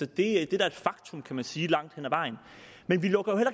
det er da et faktum kan man sige langt hen ad vejen men vi lukker jo